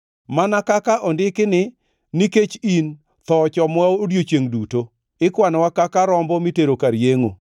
Mana kaka ondiki ni, “Nikech in, tho ochomowa odiechiengʼ duto; ikwanowa kaka rombo mitero kar yengʼo.” + 8:36 \+xt Zab 44:22\+xt*